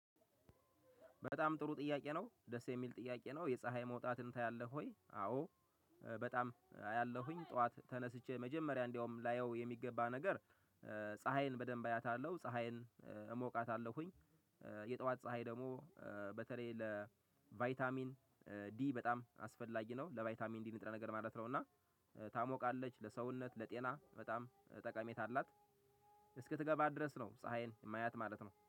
በጣም ጥሩ ጥያቄ ነው ደስ የሚል ጥያቄ ነው የፀሀይ መውጣትን ታያለህ ወይ? አዎ በጣም አያለሁኝ ጠዋት ተነስቼ መጀመሪያ እንደውም ላየው የሚገባ ነገር። ፀሀይን በደንብ አያታለሁ ፀሀይን እሞቃታለሁኝ። የጠዋት ፀሀይ ደግሞ በተለይ ለቫይታሚን ዲ በጣም አስፈላጊ ነው ለባይታሚን ዲ ንጥረ ነገር ማለት ነው። እና ታሞቃለች ለሰውነት ለጤና በጣም አላት። እስክትገባ ድረስ ነው ፀሀይን የማያት ማለት ነው